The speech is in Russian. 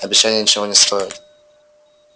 обещания ничего не стоят